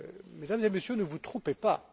Mesdames et Messieurs, ne vous trompez pas!